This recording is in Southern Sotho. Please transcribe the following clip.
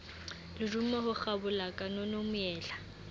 lerumo ho kgabola kanono moela